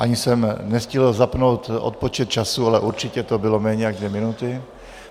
Ani jsem nestihl zapnout odpočet času, ale určitě to bylo méně jak dvě minuty.